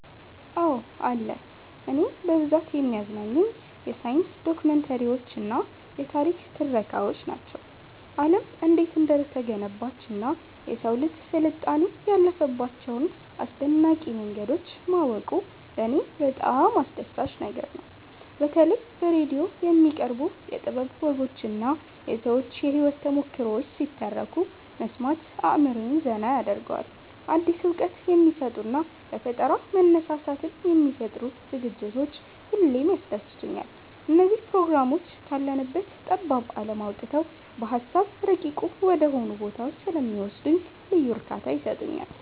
አዎ አለ። እኔን በብዛት የሚያዝናኑኝ የሳይንስ ዶክመንተሪዎችና የታሪክ ትረካዎች ናቸው። ዓለም እንዴት እንደተገነባችና የሰው ልጅ ስልጣኔ ያለፈባቸውን አስደናቂ መንገዶች ማወቁ ለኔ በጣም አስደሳች ነገር ነው። በተለይ በራዲዮ የሚቀርቡ የጥበብ ወጎችና የሰዎች የህይወት ተሞክሮዎች ሲተረኩ መስማት አእምሮዬን ዘና ያደርገዋል። አዲስ እውቀት የሚሰጡና ለፈጠራ መነሳሳትን የሚፈጥሩ ዝግጅቶች ሁሌም ያስደስቱኛል። እነዚህ ፕሮግራሞች ካለንበት ጠባብ ዓለም አውጥተው በሃሳብ ረቂቅ ወደሆኑ ቦታዎች ስለሚወስዱኝ ልዩ እርካታ ይሰጡኛል።